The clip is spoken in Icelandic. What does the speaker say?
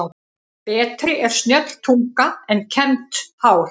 Betri er snjöll tunga en kembt hár.